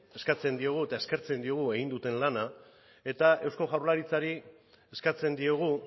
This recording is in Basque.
eskatzen diogu eta eskertzen diogu egin duten lana eta eusko jaurlaritzari eskatzen diogu